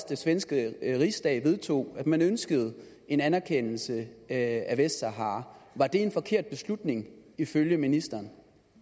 den svenske rigsdag vedtog at man ønskede en anerkendelse af vestsahara var det en forkert beslutning ifølge ministeren